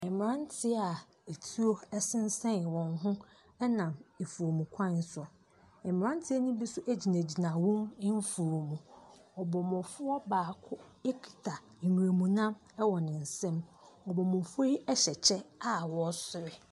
Mmeranteɛ a etuo sensɛn wɔn ho nam afuo kwan so. Mmeranteɛ no bi nso gyinagyina wɔn mfuom. Ɔbɔmmɔfoɔ baako kita nwuram nam wɔ ne nsam. Abɔmmɔfoɔ yi hyɛ kyɛ a wɔresere.